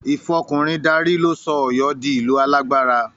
Ìfọkùnrin darí ló sọ Ọ̀yọ́ di ìlú alágbára